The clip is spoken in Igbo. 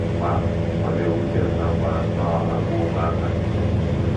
Mgbe ahụ, ọ na-ewute m na m kpara nnọọ àgwà ụmụaka.